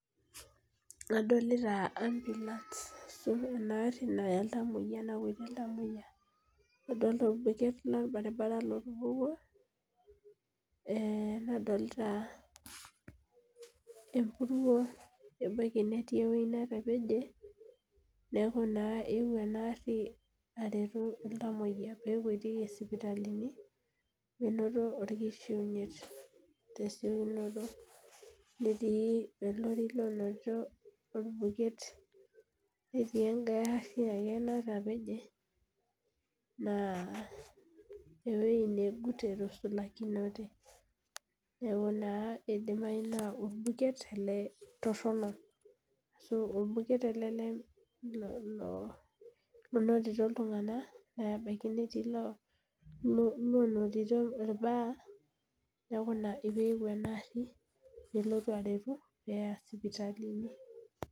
Adolita ambulance ena gari nanap iltamoyiak ,adolita obeket lorbaribara otupukuo ,nadolita empuruo ebaiki netii eweji netapeje neeku naa eyeuo ena gari aretu iltamoyiak pee ekwetieki sipitalini menoto orkishiunyeit tesiokinoto netii olori lonoto orbuket netii enkae gari ake natapeje naa eweji negut etusulakinote ,neeku naa eidimayu naa orbuket ele toronok ,ashu orbuket ele onotito iltunganak ,ebaiki loonotito irbaa neeku ina pee eyeuo ena gari pee elotu aretu pee eya sipitalini.